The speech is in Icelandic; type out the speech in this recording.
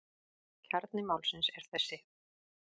Kjarni málsins er þessi.